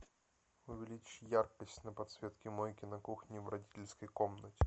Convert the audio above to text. увеличь яркость на подсветке мойки на кухне в родительской комнате